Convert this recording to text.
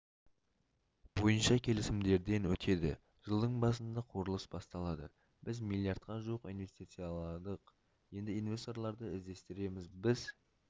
бойынша келісімдерден өтеді жылдың басында құрылыс басталады біз миллиардқа жуық инвестицияладық енді инвесторларды іздестіреміз біз